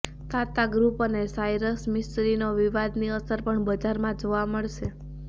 તાતા group અને સાયરસ મિસ્ત્રીનો વિવાદની અસર પણ બજારમાં જોવા મળશે